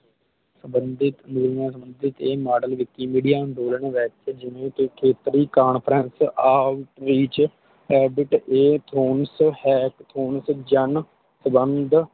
ਸੰਬੰਧਿਤ ਵੈਲਜ਼ ਨਾਲ ਸੰਬੰਧਿਤਏ ਮਾਡਲ Vikimedia ਅੰਦੋਲਨ ਵਿਚ ਖੇਤਰੀ Conference vਵਿਚ ਆਊਟ ਵਿਚ ਰਾਬਿਤ ਏ ਥਰੋਨ ਜਨ ਸੰਬੰਧ